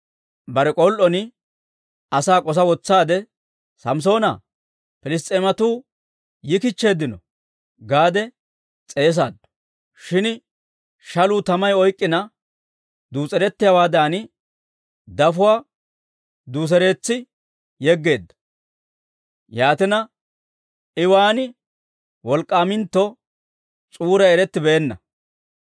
Bare k'ol"on asaa k'osa wotsaade, «Samssoonaa, Piliss's'eematuu yikichcheeddino» gaade s'eesaaddu. Shin shaluu tamay oyk'k'ina duus'erettiyaawaadan, dafotuwaa duuseretsi yegeedda. Yaatina, I waan wolk'k'aamintto s'uuray erettibeenna.